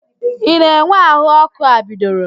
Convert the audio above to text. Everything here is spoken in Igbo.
Ị na-enwe ahụ ọkụ a bidoro?